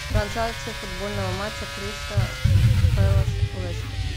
трансляция футбольного матча кристал пэлас лестер